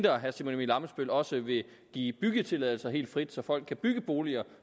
at herre simon emil ammitzbøll også vil give byggetilladelser helt frit så folk kan bygge boliger